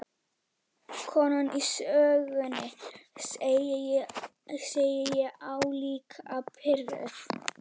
Konan í sögunni, segi ég álíka pirruð.